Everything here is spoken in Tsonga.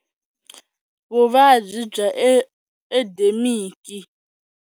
Vuvabyi bya endemiki.